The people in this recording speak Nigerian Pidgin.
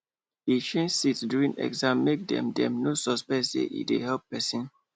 e change seat during exam make dem dem no suspect say e dey help person